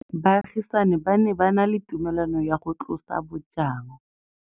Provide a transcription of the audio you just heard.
Baagisani ba ne ba na le tumalanô ya go tlosa bojang.